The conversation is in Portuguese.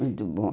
Muito bom.